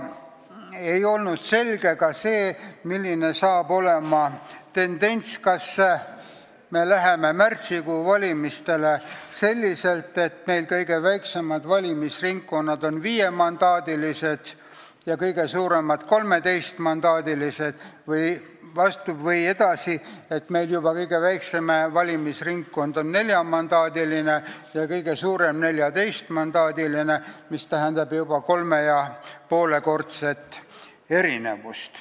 Ei olnud selge ka see, milline hakkab olema tendents, kas me läheme märtsikuus valimistele selliselt, et kõige väiksemad valimisringkonnad on viiemandaadilised ja kõige suuremad 13-mandaadilised, või kõige väiksem valimisringkond on neljamandaadiline ja kõige suurem 14-mandaadiline, mis tähendab juba 3,5-kordset erinevust.